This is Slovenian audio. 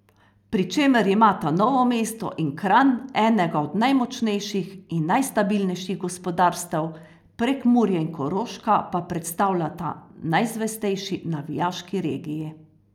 Pri čemer imata Novo mesto in Kranj enega od najmočnejših in najstabilnejših gospodarstev, Prekmurje in Koroška pa predstavljata najzvestejši navijaški regiji.